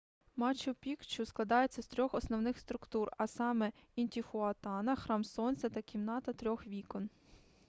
мачу пікчу складається з трьох основних структур а саме інтіхуатана храм сонця та кімната трьох вікон